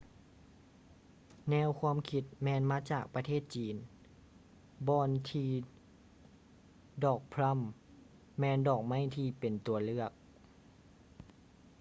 ແນວຄວາມຄິດແມ່ນມາຈາກປະເທດຈີນບ່ອນທີ່ດອກພລັມແມ່ນດອກໄມ້ທີ່ເປັນຕົວເລືອກ